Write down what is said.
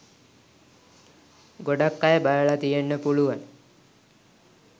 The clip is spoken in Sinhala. ගොඩක් අය බලලා තියෙන්න පුලුවන්